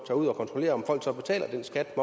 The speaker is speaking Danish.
ud og kontrollerer om folk så betaler den skat